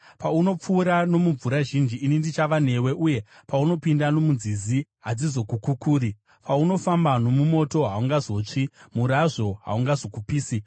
Paunopfuura nomumvura zhinji ini ndichava newe; uye paunopinda nomunzizi, hadzizokukukuri. Paunofamba nomumoto, haungazotsvi; murazvo haungazokupisi.